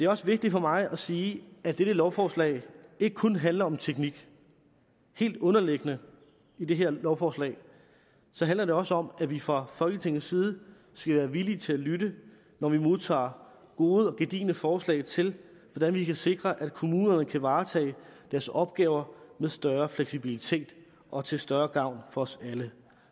også vigtigt for mig at sige at dette lovforslag ikke kun handler om teknik helt underliggende i det her lovforslag handler det også om at vi fra folketingets side skal være villige til at lytte når vi modtager gode og gedigne forslag til hvordan vi kan sikre at kommunerne kan varetage deres opgaver med større fleksibilitet og til større gavn for os alle